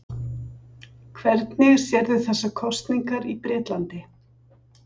Hvernig sérðu þessar kosningar í Bretlandi?